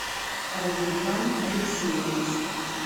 радимхан алексеевич